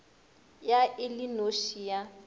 ya e le noši ya